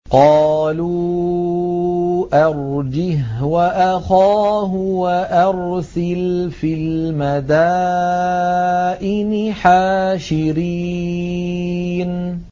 قَالُوا أَرْجِهْ وَأَخَاهُ وَأَرْسِلْ فِي الْمَدَائِنِ حَاشِرِينَ